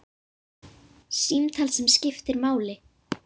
Símtal sem skiptir máli